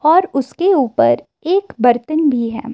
और उसके ऊपर एक बर्तन भी है।